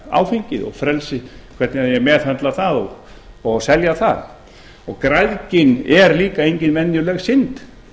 áfengið og frelsið hvernig eigi að meðhöndla það og selja það græðgin er líka engin venjuleg synd